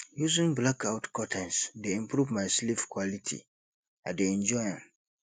using blackout curtains dey improve my sleep quality i dey enjoy am